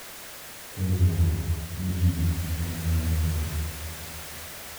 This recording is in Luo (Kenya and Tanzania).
Kuong’ruok ni yie en mar riwruok.